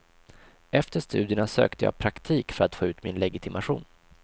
Efter studierna sökte jag praktik för att få ut min legitimation.